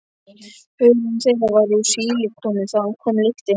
Hörund þeirra var úr sílikoni- þaðan kom lyktin.